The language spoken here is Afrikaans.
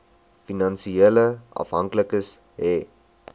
finansiële afhanklikes hê